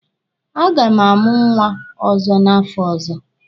A ga m amụ nwa ọzọ n'afọ ọzọ.